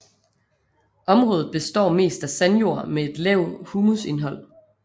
Området består mest af sandjord med et lavt humusindhold